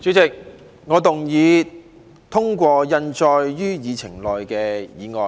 主席，我動議通過印載於議程內的議案。